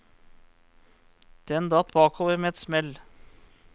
Den datt bakover med et smell.